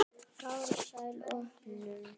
Farsæl opnun.